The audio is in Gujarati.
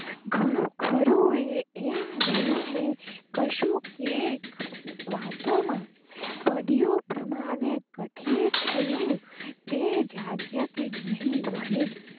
ઘણું ખરું ને એમ ગયું કે કશું કૈક વાતો માં પડિયું, પ્રમાણે કથીર થયું, તે જાગ્યા કે નહીં વહેમ